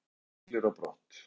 Prinsessan siglir á brott